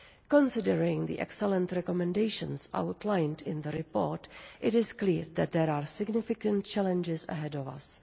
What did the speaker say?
Considering the excellent recommendations outlined in the report, it is clear that there are significant challenges ahead of us.